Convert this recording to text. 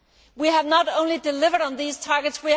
We have not only delivered on these targets